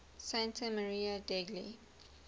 santa maria degli